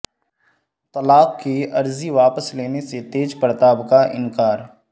طلاق کی عرضی واپس لینے سے تیج پر تاپ کاانکار